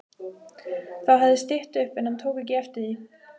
Þá hafði stytt upp en hann tók ekki eftir því.